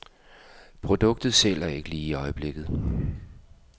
Produktet sælger ikke lige i øjeblikket.